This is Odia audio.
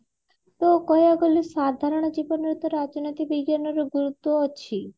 ଓ କହିବାକୁ ଗଲେ ତା ସାଧାରଣ ଜୀବନ ରେ ତ ରାଜନୀତି ବିଜ୍ଞାନ ର ଗୁରୁତ୍ବ୍ୟ ଅଛି